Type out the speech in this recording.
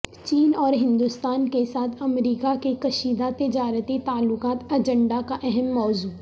چین اور ہندوستان کے ساتھ امریکہ کے کشیدہ تجارتی تعلقات ایجنڈہ کا اہم موضوع